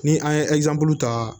Ni an ye ta